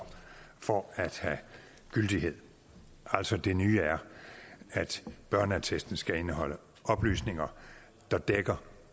for at have gyldighed altså det nye er at børneattesten skal indeholde oplysninger der dækker